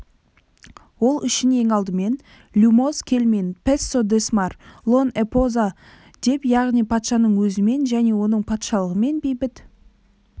ол үшін ең алдымен люмоз кельмин пессо десмар лон эпоза деп яғни патшаның өзімен және оның патшалығымен бейбіт